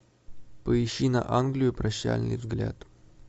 поищи на англию прощальный взгляд